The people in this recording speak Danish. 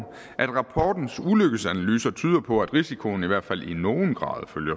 at rapportens ulykkesanalyser tyder på at risikoen i hvert fald i nogen grad